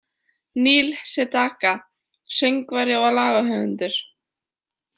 Neil Sedaka: Söngvari og lagahöfundur.